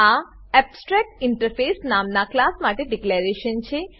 આ એબ્સ્ટ્રેક્ટિન્ટરફેસ નામનાં ક્લાસ માટે ડીકલેરેશન છે